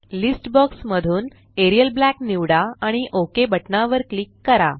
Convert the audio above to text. list box मधून Arial Black निवडा आणि ओक बटना वर क्लिक करा